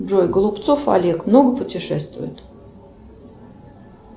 джой голубцов олег много путешествует